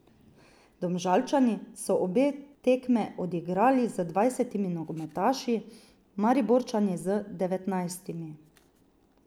Domžalčani so obe tekme odigrali z dvajsetimi nogometaši, Mariborčani z devetnajstimi.